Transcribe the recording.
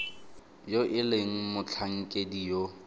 yo e leng motlhankedi yo